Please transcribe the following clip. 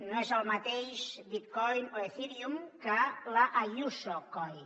no és el mateix bitcoin o ethereum que l’ayusocoin